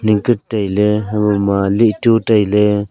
tai ley hebo ma lih chu tai ley.